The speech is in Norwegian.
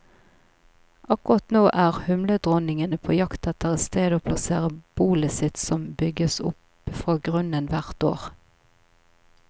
Akkurat nå er humledronningene på jakt etter et sted å plassere bolet sitt, som bygges opp fra grunnen hvert år.